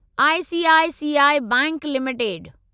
ICICI bank limited